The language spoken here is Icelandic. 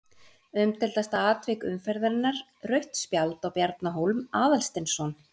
Umdeildasta atvik umferðarinnar: Rautt spjald á Bjarna Hólm Aðalsteinsson?